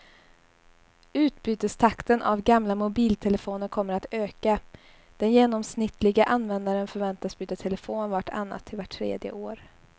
Utbytestakten av gamla mobiltelefoner kommer att öka, den genomsnittliga användaren förväntas byta telefon vart annat till vart tredje år.